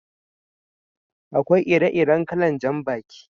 Akwai ire-iren kalan jan baki.